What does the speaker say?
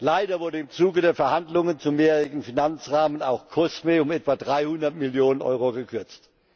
Leider wurde im Zuge der Verhandlungen zum mehrjährigen Finanzrahmen auch COSME um etwa 300 Millionen Euro gekürzt.